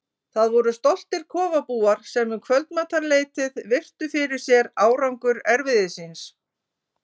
Það voru stoltir kofabúar sem um kvöldmatarleytið virtu fyrir sér árangur erfiðis síns.